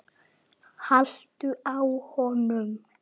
haltu á honum!